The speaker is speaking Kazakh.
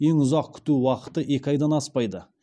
ең ұзақ күту уақыты екі айдан аспайды